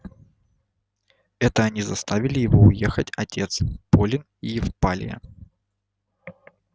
это они заставили его уехать отец полин и евлалия